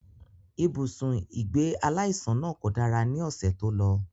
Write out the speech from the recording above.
Ibùsùn ìgbé aláìsàn náà kò dára ní ọ̀sẹ̀ tó lọ